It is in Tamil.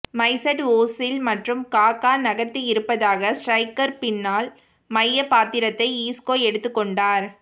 மைசட் ஓசில் மற்றும் காகா நகர்த்தியிருப்பதாக ஸ்ட்ரைக்கர் பின்னால் மையப் பாத்திரத்தை ஈஸ்கோ எடுத்துக் கொண்டார்